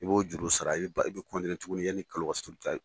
I b'o juru sara , i bɛ tuguni yani kalo ka sa